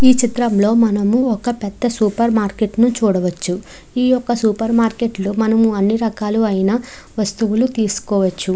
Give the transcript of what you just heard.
చిత్రంలో మనము ఒక పెద్ద సూపర్ మార్కెట్ ను చూడవచ్చు. ఈ ఒక సూపర్ మార్కెట్ లో మనము అన్ని రకాలైన వస్తువులు తీసుకోవచ్చు.